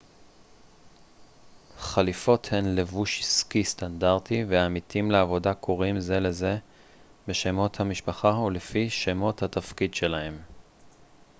חליפות הן לבוש עסקי סטנדרטי ועמיתים לעבודה קוראים זה לזה בשמות המשפחה או לפי שמות התפקיד שלהם